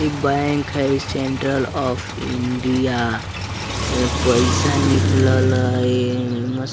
इ बैंक हय इ सेंट्रल ऑफ इंडिया एमे पैसा निकलल हय ए मे --